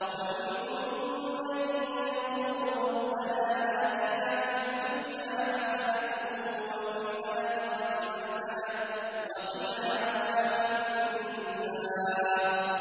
وَمِنْهُم مَّن يَقُولُ رَبَّنَا آتِنَا فِي الدُّنْيَا حَسَنَةً وَفِي الْآخِرَةِ حَسَنَةً وَقِنَا عَذَابَ النَّارِ